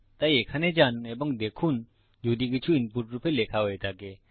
তাই এখানে যান এবং দেখুন যদি কিছু ইনপুট রূপে লেখা হয়ে থাকে